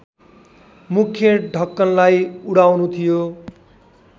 मुख्य ढक्कनलाई उडाउनु थियो